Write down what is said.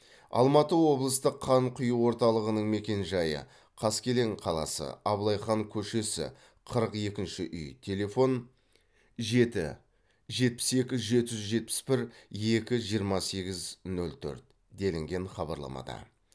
алматы облыстық қан құю орталығының мекенжайы қаскелең қаласы абылай хан көшесі қырық екінші үй телефон жеті жетпіс екі жеті жүз жетпіс бір екі жиырма сегіз нөл төрт делінген хабарламада